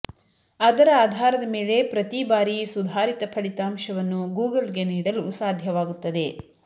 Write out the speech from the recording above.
ಅದರ ಆಧಾರದ ಮೇಲೆ ಪ್ರತೀ ಬಾರಿ ಸುಧಾರಿತ ಫಲಿತಾಂಶವನ್ನು ಗೂಗಲ್ಗೆ ನೀಡಲು ಸಾಧ್ಯವಾಗುತ್ತದೆ